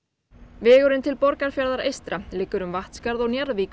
vegurinn til Borgarfjarðar eystra liggur um Vatnsskarð og